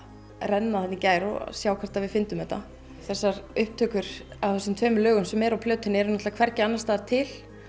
renna þarna í gær og sjá hvort að við fyndum þetta þessar upptökur af þessum tveimur lögum sem eru á plötunni eru hvergi annarstaðar til